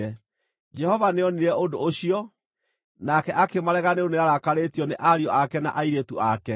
Jehova nĩonire ũndũ ũcio nake akĩmarega nĩ ũndũ nĩarakarĩtio nĩ ariũ ake na airĩtu ake.